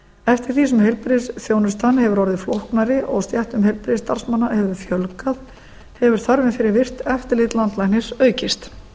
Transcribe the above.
eftir því sem heilbrigðisþjónustan hefur orðið flóknari og stéttum heilbrigðisstarfsmanna hefur fjölgað hefur þörfin fyrir virkt eftirlit landlæknis aukist